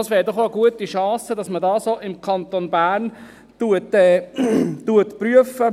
Es wäre doch auch eine gute Chance, dass man das auch im Kanton Bern prüft.